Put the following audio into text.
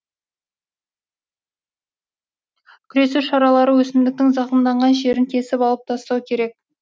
күресу шаралары өсімдіктің зақымданған жерін кесіп алып тастау керек